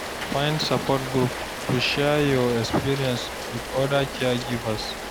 Find support group, to share your experience wit oda caregivers.